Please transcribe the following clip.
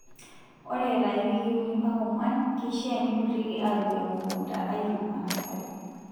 Ore eeta iwikii uni mpaka ong'uan, keishaa neidurrieki aapik emukunta aaitung'aa nasari.